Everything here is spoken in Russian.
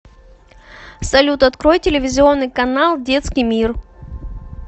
салют открой телевизионный канал детский мир